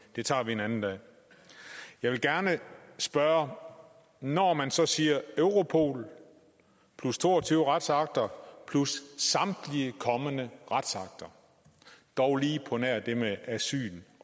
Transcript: det tager vi en anden dag jeg vil gerne spørge når man så siger europol plus to og tyve retsakter plus samtlige kommende retsakter dog lige på nær det med asyl